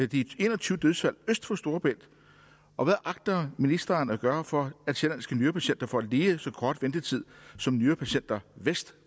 de en og tyve dødsfald øst for storebælt og hvad agter ministeren at gøre for at sjællandske nyrepatienter får lige så kort ventetid som nyrepatienter vest